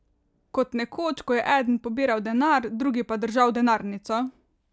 Kot nekoč, ko je eden pobiral denar, drugi pa držal denarnico?